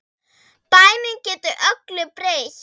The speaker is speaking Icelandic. Bænin getur öllu breytt.